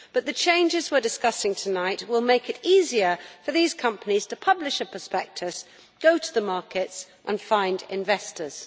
But the changes we are discussing tonight will make it easier for these companies to publish a prospectus, go to the markets and find investors.